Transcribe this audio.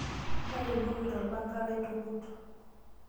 Taretuoki tolpanga laitukut.